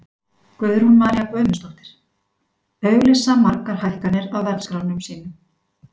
Guðrún María Guðmundsdóttir: Auglýsa margir hækkanir á verðskránum sínum?